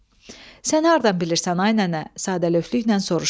Sən hardan bilirsən, ay nənə, sadəlöflüklə soruşdum.